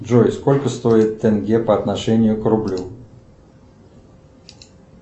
джой сколько стоит тенге по отношению к рублю